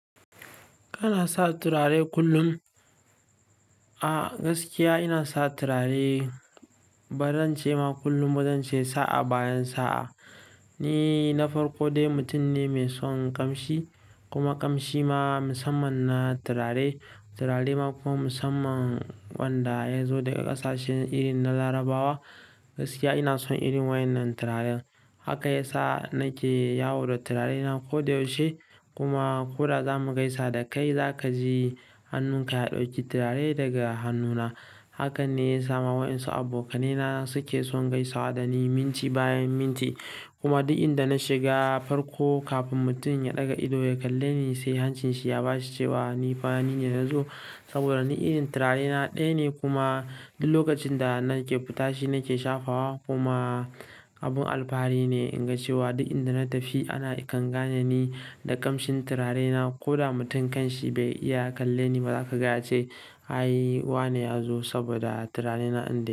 Kana sa turare kullum? A gaskiya ina sa turare, baran ce ma kullum, bari in ce sa'a bayan sa'a. Ni na farko dai mutum ne mai son ƙamshi kuma ƙamshi ma musamman na turare. Turare ma kuma musamman waɗanda ya zo daga ƙasashen iri na Larabawa. Gaskiya ina son irin wannan turaren. Haka ya sa nake yawo da turarena koda yaushe kuma ko da za mu gaisa da kai, za ka ji hannunka ya ɗauki turare daga hannuna. Hakan ne ya sa ma waɗansu abokanaina suke son gaisa da ni minti bayan minti kuma duk inda na shiga farko kafin mutum ya ɗaga ido ya kalle ni sai hancinshi ya baci cewa nifa nine na zo saboda ni irin turarena ɗaya ne kuma duk lokacin da nake fitashi nake shafa wa kuma abun alfahari ne in ga cewa duk inda na tafi ana kan gane ni da ƙamshin turarena. Koda mutum kan shi bai iya kalle ni ba, za ka ga ya ce, "Ai wane ya zo?" saboda turarena din dai.